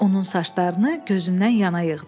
Onun saçlarını gözündən yana yığdı.